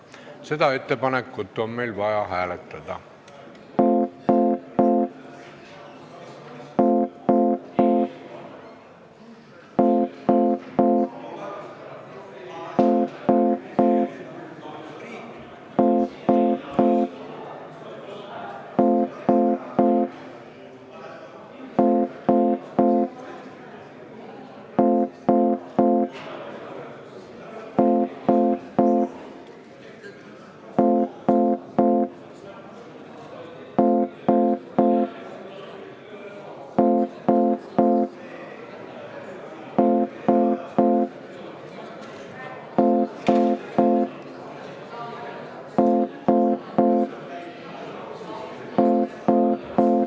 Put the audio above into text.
Seda on meil vaja hääletada.